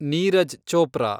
Neeraj Chopra